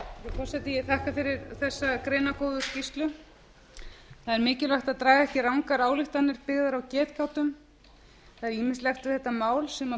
forseti ég þakka fyrir þessa greinargóðu skýrslu það er mikilvægt að draga ekki rangar ályktanir byggðar á getgátum það er ýmislegt við þetta mál sem ber